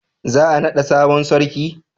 za a nada sabon sarki?